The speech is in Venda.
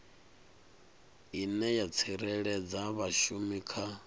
ine ya tsireledza vhashumi kha